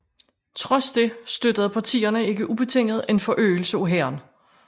Trods det støttede partierne ikke ubetinget en forøgelse af hæren